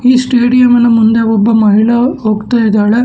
ಈ ಸ್ಟೇಡಿಯಂ ನ ಮುಂದೆ ಒಬ್ಬ ಮಹಿಳಾ ಹೋಗ್ತಾ ಇದಾಳೆ.